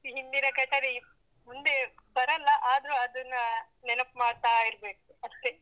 ಹಿಂದಿನ ಘಟನೆ ಮುಂದೆ ಬರಲ್ಲ ಆದ್ರೂ ಅದನ್ನ ನೆನಪು ಮಾಡ್ತಾ ಇರ್ಬೇಕು ಅಷ್ಟೇ.